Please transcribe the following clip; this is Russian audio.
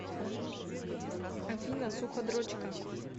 афина суходрочка